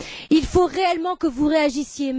Il faut réellement que vous réagissiez